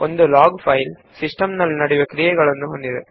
log file ನಲ್ಲಿ system ನಲ್ಲಿ ನಡೆದ ಘಟನೆಗಳು ಇರುತ್ತವೆ